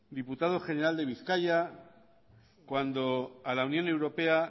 diputado general de bizkaia cuando a la unión europea